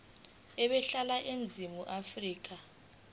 ebehlala eningizimu afrika